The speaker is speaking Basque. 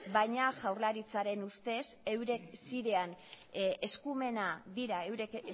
baina jaurlaritzaren ustez eurek